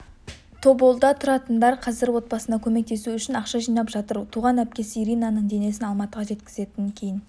тоболда тұратындар қазір отбасына көмектесу үшін ақша жинап жатыр туған әпкесі иринаның денесін алматыға жеткізетінін кейін